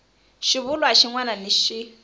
xivulwa xin wana ni xin